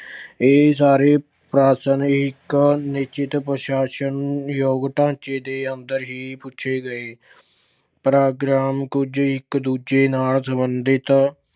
ਇਹ ਸਾਰੇ ਪ੍ਰਸ਼ਨ ਇੱਕ ਨਿਸ਼ਚਿਤ ਪ੍ਰਸਾਸ਼ਨ ਨੂੰ ਯੋਗ ਢਾਂਚੇ ਦੇ ਅੰਦਰ ਹੀ ਪੁੱਛੇ ਗਏ। ਪ੍ਰੋਗਰਾਮ ਕੁੱਝ ਇੱਕ ਦੂਜੇ ਨਾਲ ਸੰਬੰਧਿਤ